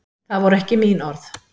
Það voru ekki mín orð